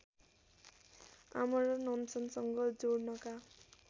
आमरण अनसनसँग जोड्नका